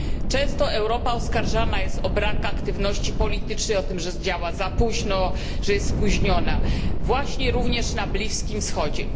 Często Europa oskarżana jest o brak aktywności politycznej, o to, że działa za późno, właśnie również na Bliskim Wschodzie.